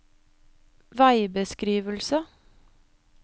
veibeskrivelse